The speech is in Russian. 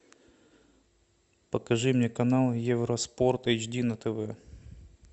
покажи мне канал евроспорт эйч ди на тв